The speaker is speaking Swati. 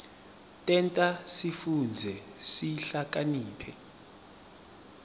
tenta sifundze sihlakaniphe